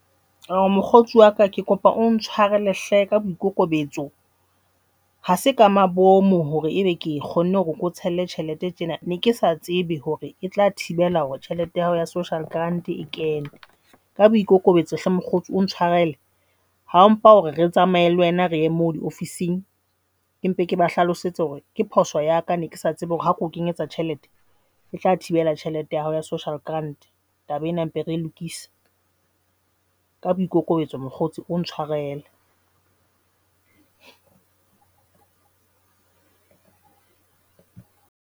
Awo, mokgotsi wa ka ke kopa o ntshwarele hle ka boikokobetso. Ha se ka mabomo hore ebe ke kgonne hore ke tshelle tjhelete tjena, ne ke sa tsebe hore e tla thibela hore tjhelete ya hao ya social grant e kene ka boikokobetso hle mokgotsi o ha mpha hore re tsamaye le wena re ye moo diofising ke mpe ke ba hlalosetse hore ke phoso ya ka ne kesa tsebe hore ha keo kenyetse tjhelete e tla thibela tjhelete ya hao ya social grant taba ena mpe re lokise ka boikokobetso mokgotsi ke kopa o ntshwarele.